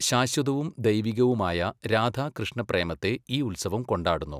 ശാശ്വതവും ദൈവികവുമായ രാധാകൃഷ്ണപ്രേമത്തെ ഈ ഉത്സവം കൊണ്ടാടുന്നു.